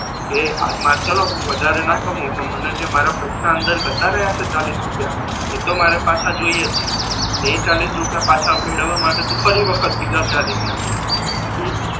તો એ ચાલો હુ વધારે ના કમાઉ પણ મને જે મારા પૈસા અંદર જતા રહ્યા છે ચાલીસ રૂપિયા એતો મારે પાછા જોઈએ જ છે એટલે એ ચાલીસ રૂપિયા પાછા મેળવવા માટે તુ ફરી વખત બીજા ચાલીસ નાખીશ હમ